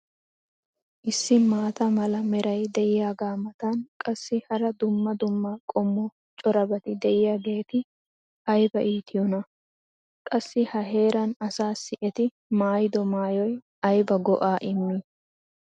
issi maata mala meray diyaagaa matan qassi hara dumma dumma qommo corabati diyaageeti ayba iittiyoonaa? qassi ha heeraa asaassi eti maayido maayoy ayba go'aa immii!